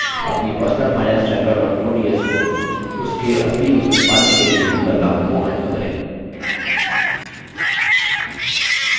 अपनी personalfinancetracker ods को उसके असली रूप में पाने के लिए इन बदलावों को अन्डू करें